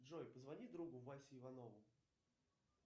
джой позвони другу васе иванову